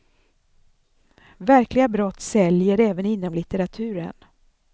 Verkliga brott säljer även inom litteraturen.